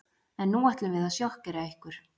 En nú ætlum við að sjokkera ykkur.